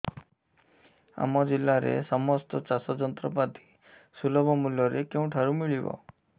ଆମ ଜିଲ୍ଲାରେ ସମସ୍ତ ଚାଷ ଯନ୍ତ୍ରପାତି ସୁଲଭ ମୁଲ୍ଯରେ କେଉଁଠାରୁ ମିଳିବ